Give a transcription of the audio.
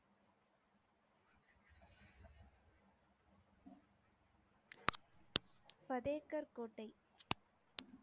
பதேகர் கோட்டை